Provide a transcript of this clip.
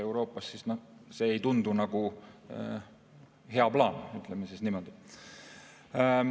Aga see ei tundu olevat hea plaan, ütleme niimoodi.